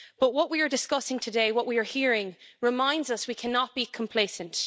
But what we are discussing today, what we are hearing, reminds us we cannot be complacent.